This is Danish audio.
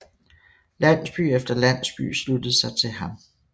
Landsby efter landsby sluttede sig til ham